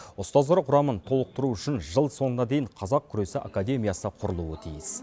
ұстаздар құрамын толықтыру үшін жыл соңына дейін қазақ күресі академиясы құрылуы тиіс